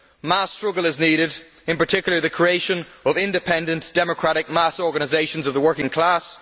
Mass struggle is needed, in particular, the creation of independent, democratic mass organisations of the working class.